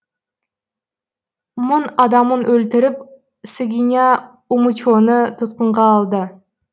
мың адамын өлтіріп сыгиня умучоны тұтқынға алды